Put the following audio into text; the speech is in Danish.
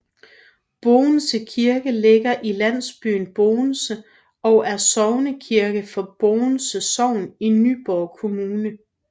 Bovense Kirke ligger i landsbyen Bovense og er sognekirke for Bovense Sogn i Nyborg Kommune